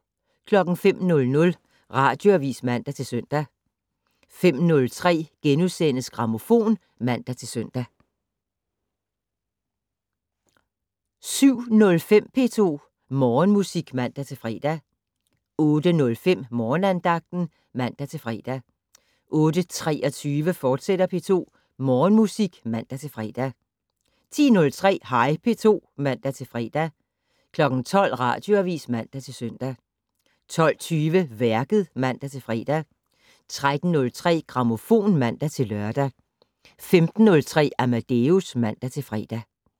05:00: Radioavis (man-søn) 05:03: Grammofon *(man-søn) 07:05: P2 Morgenmusik (man-fre) 08:05: Morgenandagten (man-fre) 08:23: P2 Morgenmusik, fortsat (man-fre) 10:03: Hej P2 (man-fre) 12:00: Radioavis (man-søn) 12:20: Værket (man-fre) 13:03: Grammofon (man-lør) 15:03: Amadeus (man-fre)